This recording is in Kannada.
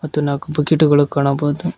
ಮತ್ತು ನಾಕು ಬಕೆಟ್ ಗಳು ಕಾಣಬಹುದು.